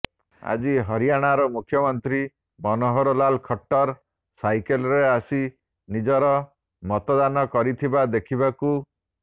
ଆଜି ହରିୟାଣାର ମୁଖ୍ୟମନ୍ତ୍ରୀ ମନୋହର ଲାଲ୍ ଖଟ୍ଟର ସାଇକେଲରେ ଆସି ନିଜର ମତଦାନ କରିଥିବା ଦେଖିବାକୁ